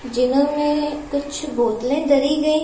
जिनमें कुछ बोतले दरी गई--